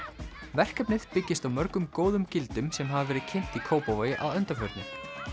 verkefnið byggist á mörgum góðum gildum sem hafa verið kynnt í Kópavogi að undanförnu